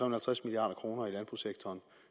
og halvtreds milliard kroner i landbrugssektoren